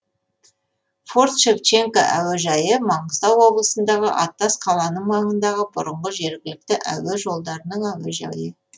форт шевченко әуежайы маңғыстау облысындағы аттас қаланың маңындағы бұрынғы жергілікті әуе жолдарының әуежайы